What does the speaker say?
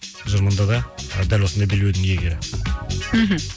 тұжырымынды да дәл осындай белбеудің иегері мхм